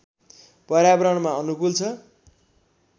पर्यावरणमा अनुकूल छ